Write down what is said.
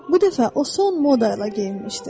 Bu dəfə o son moda ilə geyinmişdi.